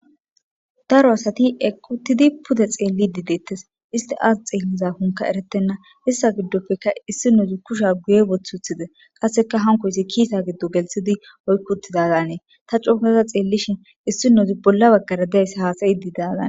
Daro asati equttidi pude xeelli dideettes isti aas xeelliza hunka eretenna issa giddoppeka issi nozi kusha guye bothuthide qasseka hankoysi kiisa giddu gelthidi oykkutidadanee ta cookaza xeellishin issi nozi bolla baggara dayssa haasayi didazane.